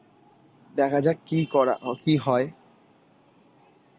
দেখা যাক কী করা ও কী হয়.